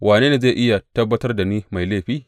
Wane ne zai iya tabbatar da ni mai laifi?